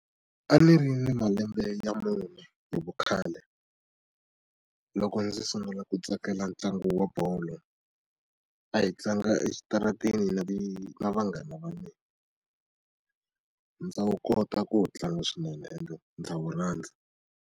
A ni ri na malembe ya mune hi vukhale loko ndzi sungula ku tsakela ntlangu wa bolo a hi tlanga exitarateni na vanghana va mina ndza wu kota ku wu tlanga swinene ende ndza wu rhandza.